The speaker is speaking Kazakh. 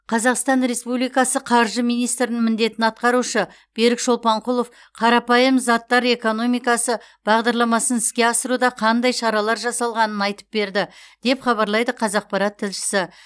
қазақстан республикасы қаржы министрінің міндетін атқарушы берік шолпанқұлов қарапайым заттар экономикасы бағдарламасын іске асыруда қандай шаралар жасалғанын айтып берді деп хабарлайды қазақпарат тілшісі